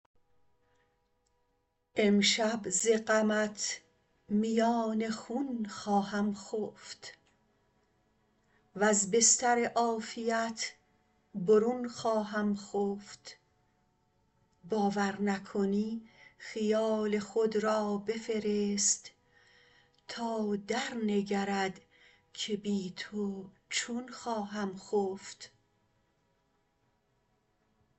امشب ز غمت میان خون خواهم خفت وز بستر عافیت برون خواهم خفت باور نکنی خیال خود را بفرست تا درنگرد که بی تو چون خواهم خفت